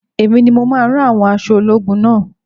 Èmi ni mo máa rán àwọn aṣọ ológun naa